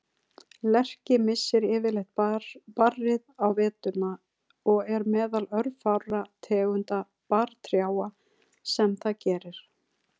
Lerki missir yfirleitt barrið á veturna og er meðal örfárra tegunda barrtrjáa sem það gerir.